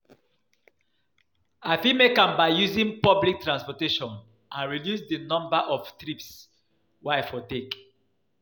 i fit make am by using public transportation and reduce di number of trips wey i for take.